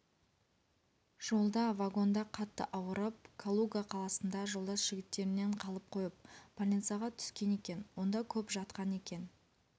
жолда вагонда қатты ауырып калуга қаласында жолдас жігіттерінен қалып қойып больницаға түскен екен онда көп жатқан екен